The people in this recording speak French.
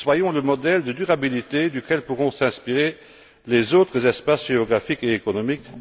Soyons le modèle de durabilité dont pourront s'inspirer les autres espaces géographiques et économiques.